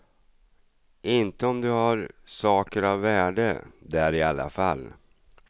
Inte om du har saker av värde där i alla fall.